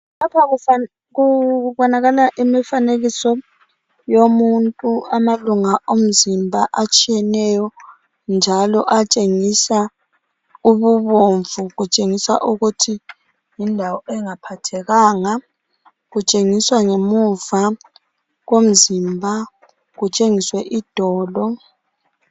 Lapha kubonakala imifanekiso yomuntu .Amalunga omzimba atshiyeneyo njalo atshengisa ububomvu kutshengisa ukuthi yindawo engaphathekanga .Kutshengiswa ngemuva komzimba kutshengiswe idolo .